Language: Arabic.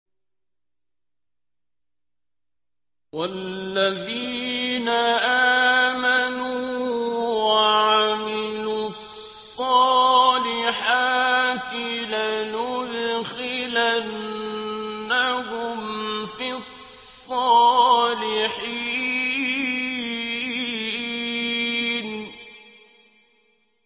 وَالَّذِينَ آمَنُوا وَعَمِلُوا الصَّالِحَاتِ لَنُدْخِلَنَّهُمْ فِي الصَّالِحِينَ